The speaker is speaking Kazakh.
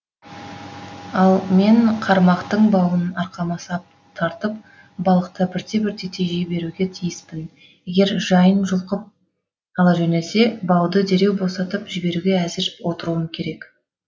ал мен қармақтың бауын арқама сап тартып балықты бірте бірте тежей беруге тиіспін егер жайын жұлқып ала жөнелсе бауды дереу босатып жіберуге әзір отыруым керек